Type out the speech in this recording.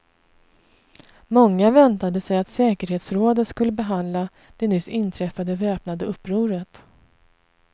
Många väntade sig att säkerhetsrådet skulle behandla det nyss inträffade väpnade upproret.